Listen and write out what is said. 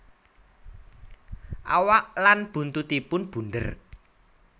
Awak lan buntutipun bunder